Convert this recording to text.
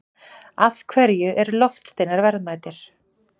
Af hverju eru loftsteinar verðmætir?